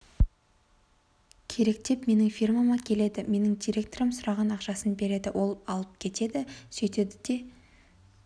керек деп менің фирмама келеді менің директорым сұраған ақшасын береді ол алып кетеді сөйтеді де